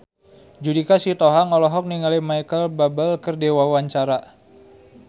Judika Sitohang olohok ningali Micheal Bubble keur diwawancara